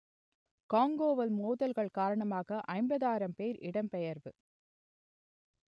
காங்கோவில் மோதல்கள் காரணமாக ஐம்பதாயிரம் பேர் இடம்பெயர்வு